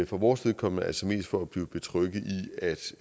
for vores vedkommende altså mest for at blive betrygget